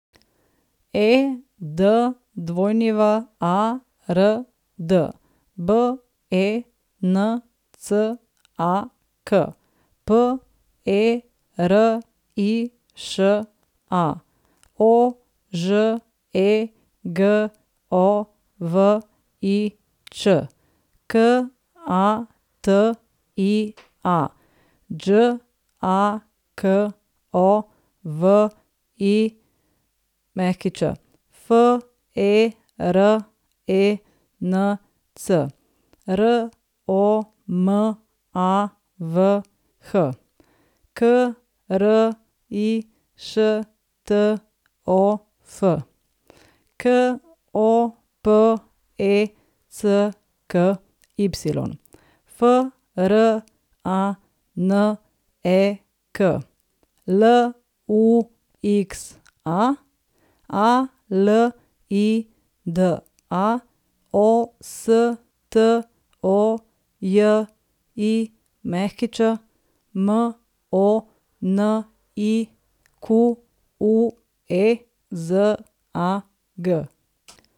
Edward Bencak, Periša Ožegovič, Katia Đaković, Ferenc Romavh, Krištof Kopecky, Franek Luxa, Alida Ostojić, Monique Zag.